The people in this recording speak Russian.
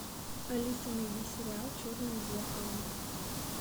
алиса найди сериал черное зеркало